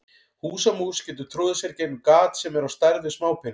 Húsamús getur troðið sér í gegnum gat sem er á stærð við smápening.